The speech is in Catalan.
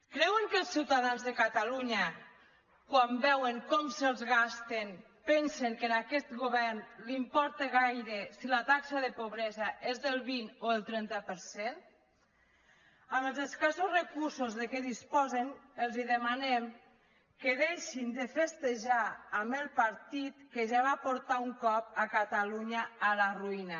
creuen que els ciutadans de catalunya quan veuen com se’ls gasten pensen que a aquest govern li importa gaire si la taxa de pobresa és del vint o el trenta per cent amb els escassos recursos de què disposen els demanem que deixin de festejar amb el partit que ja va portar un cop catalunya a la ruïna